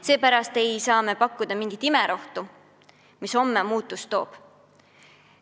Seepärast ei saa me pakkuda mingit imerohtu, mis homme muutust toob.